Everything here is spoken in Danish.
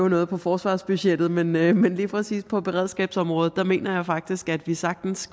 noget på forsvarsbudgettet men men lige præcis på beredskabsområdet mener jeg faktisk at vi sagtens